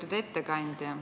Lugupeetud ettekandja!